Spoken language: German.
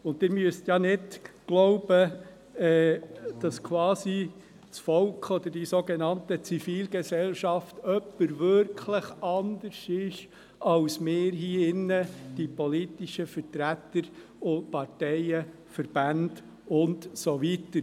Sie brauchen nicht zu glauben, dass das Volk oder die sogenannte Zivilgesellschaft wirklich jemand anderes sei als wir hier, die politischen Vertreter und Parteien, Verbände und so weiter.